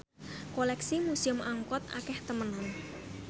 koleksi Museum Angkut akeh temenan